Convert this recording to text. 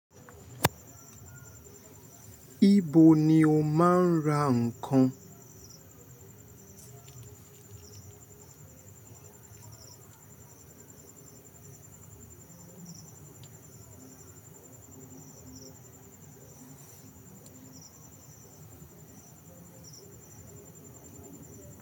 Ibo ni o máa ń ra ǹkan?